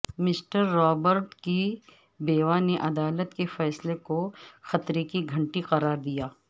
mister Robert کی بیوہ نے عدالت کے فیصلے کو خطرے کی گھنٹی قرار دیا